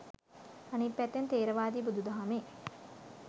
අනිත් පැත්තෙන් ථේරවාදී බුුදුදහමේ